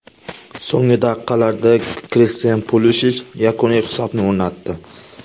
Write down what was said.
So‘nggi daqiqalarda Kristian Pulishich yakuniy hisobni o‘rnatdi.